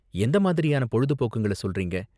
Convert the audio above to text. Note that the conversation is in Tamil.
எந்த மாதிரியான பொழுதுபோக்குங்கள சொல்றீங்க?